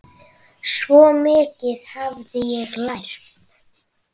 Svo mikið hafði ég lært.